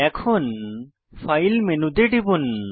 এখন ফাইল মেনুতে টিপুন